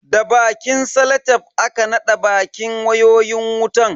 Da bakin salatef aka naɗa bakin wayoyin wutan.